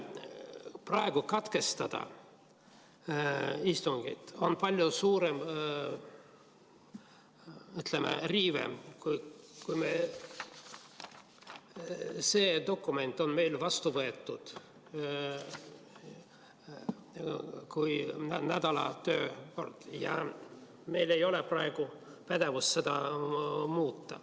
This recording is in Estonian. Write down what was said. Praegu katkestada istungit on palju suurem, ütleme, riive, kui see dokument on meil vastu võetud, kui nädala töökord ja meil ei ole praegu pädevust seda muuta.